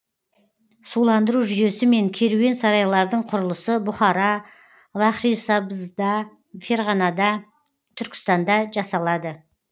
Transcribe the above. суландыру жүйесі мен керуен сарайлардың құрылысы бұхара лахрисабзда ферғанада түркістанда жасалады